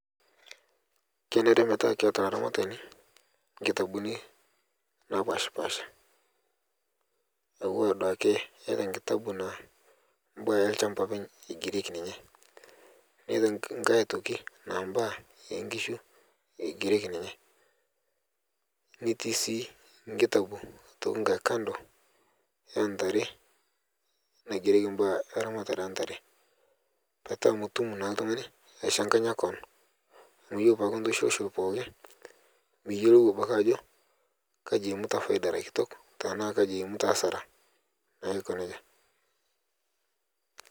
Kenare metaa keata laramatani nkitabuni napashpasha aua duake iata nkitabuni mbaa apeny lshamba eigereki ninye niata nkae aitoki naa mbaa enkishu eigereki ninye netii sii nkitabu aitoki kando naantare naigereki ramatare entare petaa mitum naa ltungani aishanganya koon amu kore tanaa intushulshul pooki miyelou abaki ajo aji eimuta paida erakitok tanaa aji eimuta asara naa aikoneja